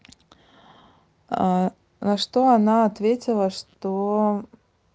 на что она ответила что